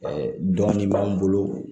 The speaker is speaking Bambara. dɔɔnin b'an bolo